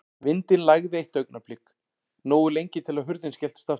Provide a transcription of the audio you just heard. Vindinn lægði eitt augnablik, nógu lengi til að hurðin skelltist aftur.